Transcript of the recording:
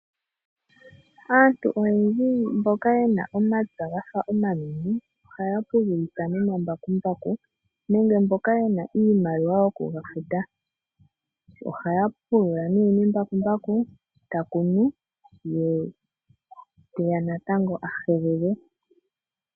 Aantu oyendji mboka yena omapya gafa omanene, ohaya pululitha nomambakumbaku nenge mboka yena iimaliwa yo kuga futa. Ohaya pulula nee nembakumbaku, ta kunu, ye teya natango ahelele.